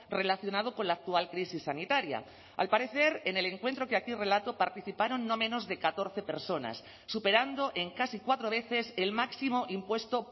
relacionado con la actual crisis sanitaria al parecer en el encuentro que aquí relato participaron no menos de catorce personas superando en casi cuatro veces el máximo impuesto